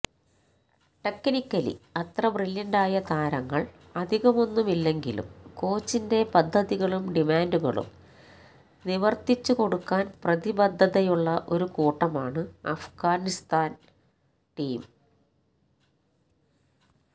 technically അത്ര ബ്രില്യന്റായ താരങ്ങള് അധികമൊന്നുമില്ലെങ്കിലും കോച്ചിന്റെ പദ്ധതികളും ഡിമാന്റുകളും നിവര്ത്തിച്ചു കൊടുക്കാന് പ്രതിബദ്ധതയുള്ള ഒരു കൂട്ടമാണ് അഫ്ഗാനിസ്ഥാന് ടീം